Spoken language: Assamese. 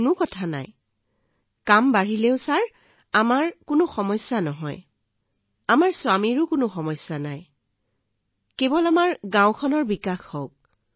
ওহ এইটো গুৰুত্বপূৰ্ণ নহয় যিমানেই কাম বৃদ্ধি নহওঁক ছাৰ মোৰ স্বামীৰ ইয়াত কোনো সমস্যা নাই আমাৰ গাওঁখনৰ বিকাশ হওক